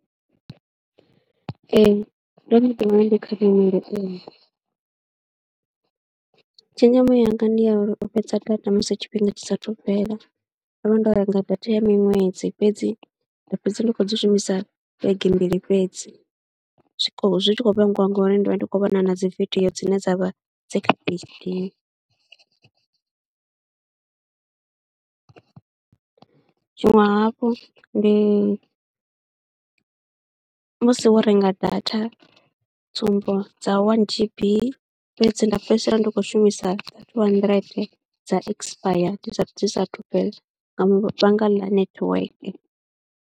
Ee ndo no ḓiwana ndi kha nyimele, tshenzhemo yanga ndi ya uri u fhedza data musi tshifhinga tshi saathu fhela, ndo vha ndo renga data ya miṅwedzi fhedzi nda fhedza ndi khou dzi shumisa vhege mbili fhedzi. Zwikolo, zwi tshi khou vhangiwa ngori ndi vha ndi khou vhona na dzi vidio dzine dza vha dzi kha . Tshiṅwe hafhu ndi musi wo renga data tsumbo dza wani G_B fhedzi nda fhedzisela ndi khou shumisa dza thuu handirente dza ekisipaya dzi saathu dzi saathu fhela nga vhaanga ḽa netiweke.